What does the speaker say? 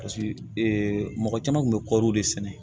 Paseke mɔgɔ caman kun bɛ kɔɔri de sɛnɛ